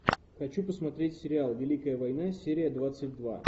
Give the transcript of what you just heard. хочу посмотреть сериал великая война серия двадцать два